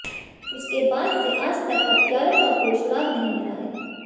उसके बाद से आज तक हत्यारों का कोई सुराग नहीं मिला है